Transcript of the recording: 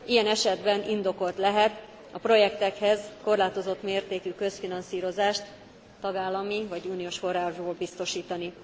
Ilyen esetben indokolt lehet a projektekhez korlátozott mértékű közfinanszírozást tagállami vagy uniós forrásból biztosítani.